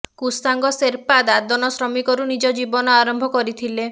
କୁସାଙ୍ଗ ଶେର୍ପା ଦାଦନ ଶ୍ରମିକରୁ ନିଜ ଜୀବନ ଆରମ୍ଭ କରିଥିଲେ